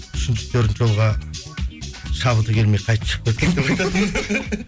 үшінші төртінші жолға шабыты келмей қайтіп шығып кеткен